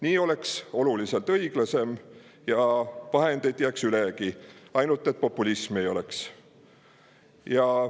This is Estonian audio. Nii oleks oluliselt õiglasem ja vahendeid jääks ülegi, ainult et populismi ei oleks.